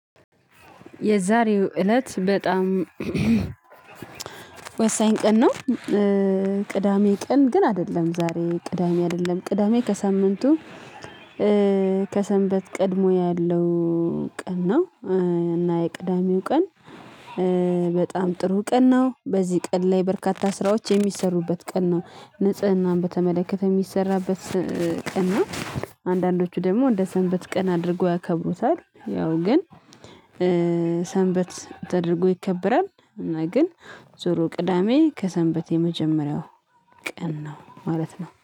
የዛሬው እለት በጣም ወሳኝ ቀን ነው። ቅዳሜ ቀን ግን አይደለም ዛሬ ቅዳሜ አይደለም ቅዳሜ ከሳምንቱ ከሰንበት ቀድሞ ያለው ቀን ነው። እና የቅዳሜው ቀን በጣም ጥሩ ቀን ነው። በዚህ ቀን ላይ በርካታ ስራዎች የሚሰሩበት ቀን ነው። ንጽህናን በተመለከተ የሚሰራበት ቀን ነው። አንዳንዶቹ ደግሞ እንደ ሰንበት ቀን አድርገው ያከብሩታል ያው ግን ተደርጎ ይከበራል። እና ግን ዙሮ ቅዳሜ ከሰንበት የመጀመሪያው ቀን ነው። ማለት ነው